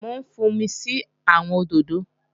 Mò ń fúnmi sí àwọn òdòdó